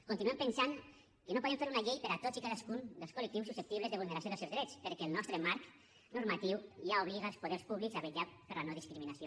continuem pensant que no podem fer una llei per a tots i cadascun dels col·lectius susceptibles de vulneració dels seus drets perquè el nostre marc normatiu ja obliga els poders públics a vetllar per la no discriminació